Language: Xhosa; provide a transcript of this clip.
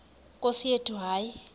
nkosi yethu hayi